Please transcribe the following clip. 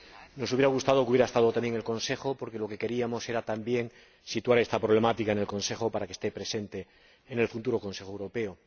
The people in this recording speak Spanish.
Nos hubiera gustado que estuviese también presente el Consejo, porque lo que queríamos era también situar esta problemática en el Consejo para que esté presente en el futuro Consejo Europeo.